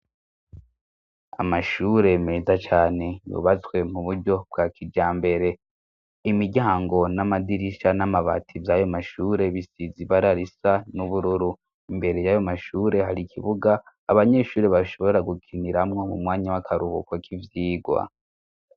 Amashure meza cyane yubatswe mu buryo bwa kijambere. Imiryango n'amadirisha n'amabatizi ayo mashure bisizibararisa n'ubururu imbere y'ayo mashure hari ikibuga abanyeshuri bashobora gukiniramwo mu mwanya w'akarubuko k'ivyigwa.